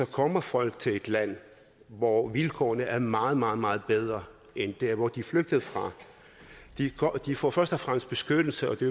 kommer folk til et land hvor vilkårene er meget meget meget bedre end der hvor de flygtede fra de får først og fremmest beskyttelse og det